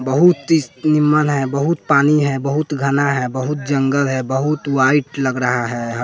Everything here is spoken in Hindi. बहुत ही निमम्न है बहुत पानी है बहुत घना है बहुत जंगल है बहुत वाइट लग रहा है।